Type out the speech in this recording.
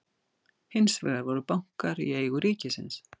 Hins vegar voru bankar í eigu ríkisins.